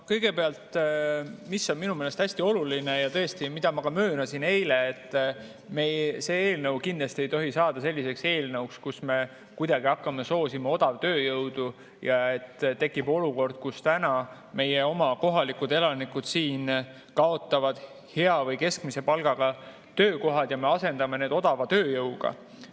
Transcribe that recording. Kõigepealt, mis on minu meelest hästi oluline ja tõesti, mida ma ka möönsin eile, et see eelnõu kindlasti ei tohi saada selliseks eelnõuks, millega me hakkame soosima odavtööjõudu ja et tekib olukord, kus meie oma kohalikud elanikud kaotavad hea või keskmise palgaga töökohad ja me asendame need odava tööjõuga.